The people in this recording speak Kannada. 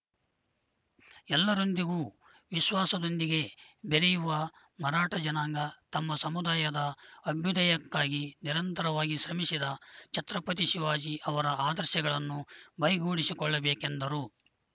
ಎಲ್ಲರೊಂದಿಗೂ ವಿಶ್ವಾಸದೊಂದಿಗೆ ಬೆರೆಯುವ ಮರಾಠ ಜನಾಂಗ ತಮ್ಮ ಸಮುದಾಯದ ಅಭ್ಯುದಯಕ್ಕಾಗಿ ನಿರಂತರವಾಗಿ ಶ್ರಮಿಸಿದ ಛತ್ರಪತಿ ಶಿವಾಜಿ ಅವರ ಆದರ್ಶಗಳನ್ನು ಮೈಗೂಡಿಸಿಕೊಳ್ಳಬೇಕೆಂದರು